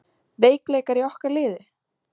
Veikleikar í okkar liði?